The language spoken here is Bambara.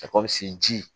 Ka kɔ se ji